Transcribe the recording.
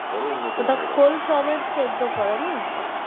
ওটা খোল সমেত সেদ্ধ করে না